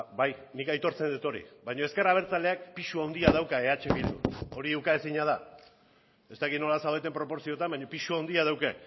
nik aitortzen dut hori baino ezker abertzaleak pisu handia dauka eh bildun hori ukaezina da ez dakit nola zaudeten proportzioetan baina pisu handia dauka